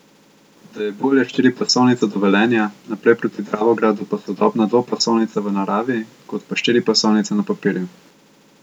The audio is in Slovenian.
Da je bolje štiripasovnica do Velenja, naprej proti Dravogradu pa sodobna dvopasovnica v naravi kot pa štiripasovnica na papirju.